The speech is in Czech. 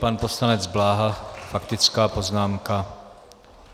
Pan poslanec Bláha, faktická poznámka.